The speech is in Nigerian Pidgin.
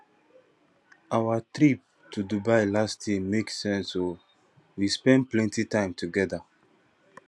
our trip to dubai last year make sense o we spend plenty time togeda